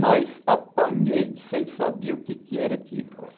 Mas apanhei sem saber o que era aquilo.